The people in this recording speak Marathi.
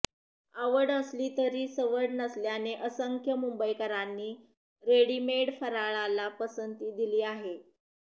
आवड असली तरी सवड नसल्याने असंख्य मुंबईकरांनी रेडीमेड फराळाला पसंती दिली आहे